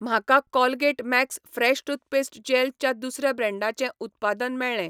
म्हाका Colgate Max fresh toothpaste gel च्या दुसऱ्या ब्रँडाचें उत्पाद मेळ्ळें.